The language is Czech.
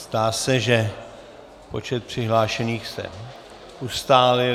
Zdá se, že počet přihlášených se ustálil.